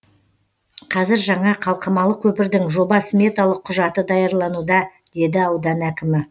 қазір жаңа қалқымалы көпірдің жоба сметалық құжаты даярлануда деді аудан әкімі